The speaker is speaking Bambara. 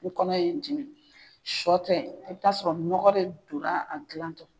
N kɔnɔ ye dimi, sɔ tɛ i bɛ t'a sɔrɔ nɔgɔ de donna a dilan tɔ.